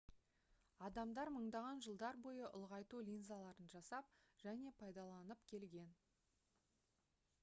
адамдар мыңдаған жылдар бойы ұлғайту линзаларын жасап және пайдаланып келген